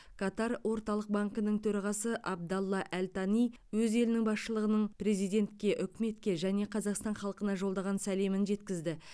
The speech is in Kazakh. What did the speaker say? катар орталық банкінің төрағасы абдалла әл тани өз елінің басшылығының президентке үкіметке және қазақстан халқына жолдаған сәлемін жеткізді